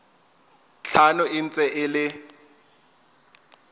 tlhano e ntse e le